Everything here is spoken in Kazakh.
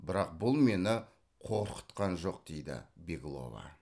бірақ бұл мені қорқытқан жоқ дейді беглова